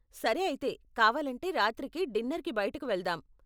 సరే అయితే, కావాలంటే, రాత్రికి డిన్నర్కి బయటకు వెళ్దాం.